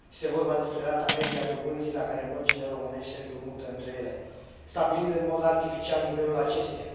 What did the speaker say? Este vorba despre rata medie a dobânzii la care băncile românești se împrumută între ele, stabilind în mod artificial nivelul acesteia.